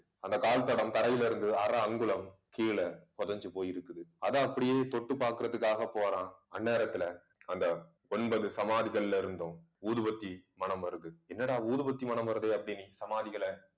அந்த கால் தடம் தரையிலிருந்து அரை அங்குலம் கீழே புதைஞ்சு போயிருக்குது. அதை அப்படியே தொட்டு பார்க்கிறதுக்காக போறான். அந்நேரத்துல அந்த ஒன்பது சமாதிகள்ல இருந்தும் ஊதுபத்தி மணம் வருது. என்னடா ஊதுபத்தி மணம் வருது அப்படின்னு சமாதிகளை